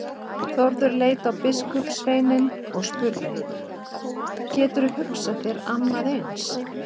Þórður leit á biskupssveininn og spurði:-Geturðu hugsað þér annað eins?!